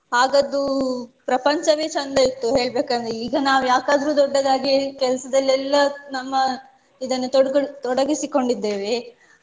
ಆಗದ್ದು ಪ್ರಪಂಚವೇ ಚಂದ ಇತ್ತು ಹೇಳ್ಬೇಕಂದ್ರೆ ಈಗ ನಾವು ಯಾಕಾದ್ರು ದೊಡ್ಡದಾಗಿ ಕೆಲಸದಲ್ಲೆಲ್ಲಾ ನಮ್ಮ ಇದನ್ನ ತೊಡ್ಕೋಲ್~ ತೊಡಗಿಸಿ ಕೊಂಡಿದ್ದೇವೆ.